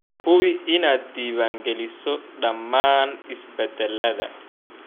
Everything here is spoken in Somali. Hubi inaad diiwaangeliso dhammaan isbeddellada.